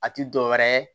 A ti dɔwɛrɛ ye